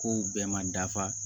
Kow bɛɛ ma dafa